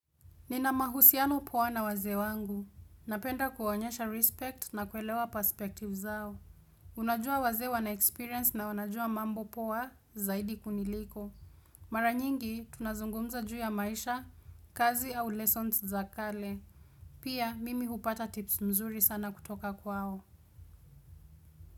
Nina mahusiano poa na wazeewangu. Napenda kuwaonyesha respect na kuelewa perspective zao. Unajua waze wana experience na wanajua mambo poa zaidi kuniliko. Maranyingi tunazungumza juu ya maisha, kazi au lessons za kale. Pia mimi hupata tips mzuri sana kutoka kwao.